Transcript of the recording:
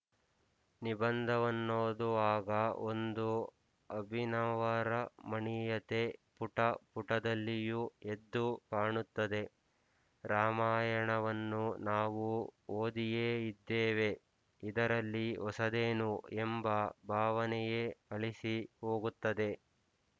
ನಿಬಂಧವನ್ನೋದುವಾಗ ಒಂದು ಅಭಿನವರಮಣೀಯತೆ ಪುಟ ಪುಟದಲ್ಲಿಯೂ ಎದ್ದು ಕಾಣುತ್ತದೆ ರಾಮಾಯಣವನ್ನು ನಾವು ಓದಿಯೇ ಇದ್ದೇವೆ ಇದರಲ್ಲಿ ಹೊಸದೇನು ಎಂಬ ಭಾವನೆಯೇ ಅಳಿಸಿ ಹೋಗುತ್ತದೆ